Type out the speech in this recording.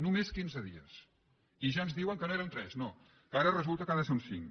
només quinze dies i ja ens diuen que no era un tres no que ara resulta que ha de ser un cinc